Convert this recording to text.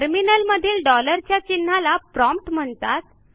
टर्मिनलमधील डॉलरच्या चिन्हाला प्रॉम्प्ट म्हणतात